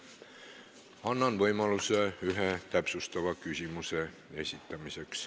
Annan võimaluse ühe täpsustava küsimuse esitamiseks.